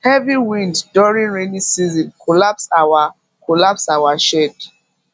heavy wind during rainy season collapse our collapse our shed